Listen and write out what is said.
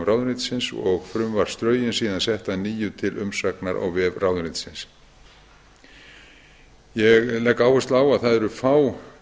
ráðuneytisins og frumvarpsdrögin síðan sett að nýju til umsagnar á vef ráðuneytisins ég legg áherslu á að fá